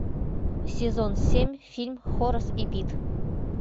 сезон семь фильм хорас и пит